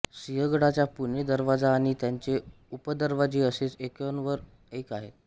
सिंहगडाचा पुणे दरवाजा आणि त्याचे उपदरवाजे असेच एकावर एक आहेत